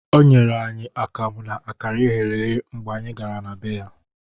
O nyere anyị akamụ na akara eghere eghe mgbe anyị gara na bee ya